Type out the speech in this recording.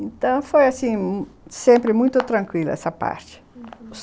Então foi assim, sempre muito tranquilo essa parte, uhum...